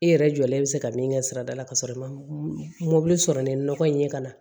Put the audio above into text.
I yɛrɛ jɔlen bɛ se ka min kɛ sirada la ka sɔrɔ i ma mobili sɔrɔ ni nɔgɔ in ye ka na